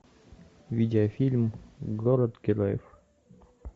видеофильм город героев